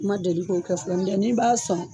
Ma deli k'o kɛ fɔlɔ n'i b'a sɔn